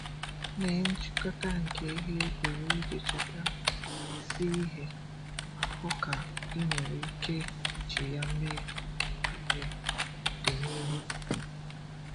Mee nchị̀kọ̀tà nke ihe ị gụrụ iji cheta isi ihe ma hụ ka ị nwere ike iji ya mee ihe n’ọdịnihu.